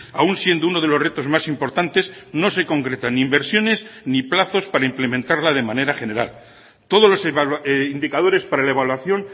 aun siendo uno de los retos más importantes no se concreta ni inversiones ni plazos para implementarla de manera general todos los indicadores para la evaluación